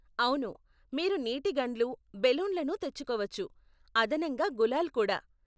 అవును, మీరు నీటి గన్లు, బెలూన్లను తెచ్చుకోవచ్చు, అదనంగా గులాల్ కూడా.